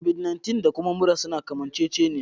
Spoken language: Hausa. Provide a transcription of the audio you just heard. Da Kobid 19 da kuma mura suna kamanceceniya